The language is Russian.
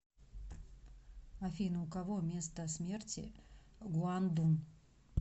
афина у кого место смерти гуандун